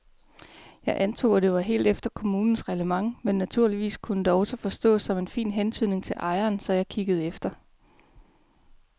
Jeg antog, at det var helt efter kommunens reglement men naturligvis kunne det også forstås som en fin hentydning til ejeren, så jeg kiggede efter.